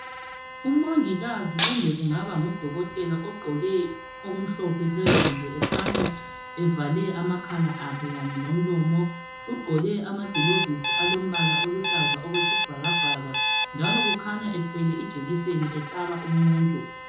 Umongikazi kumbe kungaba ngudokotela ogqoke okumhlophe phezulu . Ekhanya evale amakhala akhe kanye lomlomo ,ugqoke amagilovisi alombala oluhlaza okwesibhakabhaka. njalo kukhanya ethwele ijekiseni ehlaba umuntu.